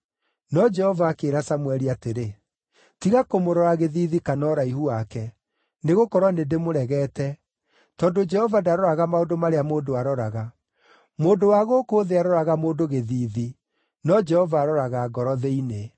No Jehova akĩĩra Samũeli atĩrĩ, “Tiga kũmũrora gĩthiithi kana ũraihu wake, nĩgũkorwo nĩndĩmũregete, tondũ Jehova ndaroraga maũndũ marĩa mũndũ aroraga. Mũndũ wa gũkũ thĩ aroraga mũndũ gĩthiithi, no Jehova aroraga ngoro thĩinĩ.”